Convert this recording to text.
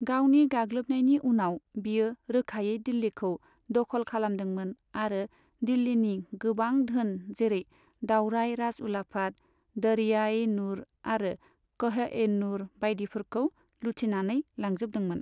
गावनि गाग्लोबनायनि उनाव बियो रोखायै दिल्लीखौ दखल खालामदोंमोन आरो दिल्लीनि गोबां धोन, जेरै दावराइ राजउलाफाद, दरिया ए नुर आरो कह ए नुर बायदिफोरखौ लुथिनानै लांजोबदोंमोन।